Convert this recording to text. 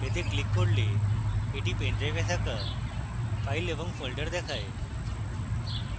এতে click করলে এটি pendrive থাকা files এবং folders দেখায়